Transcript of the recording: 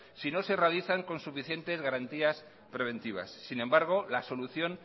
si no se realizan con suficientes garantías preventivas sin embargo la solución